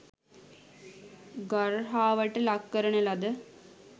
ගර්හාවට ලක් කරන ලද